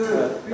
Heç nəyim deyil.